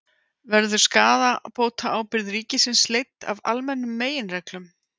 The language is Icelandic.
Verður skaðabótaábyrgð ríkisins leidd af almennum meginreglum?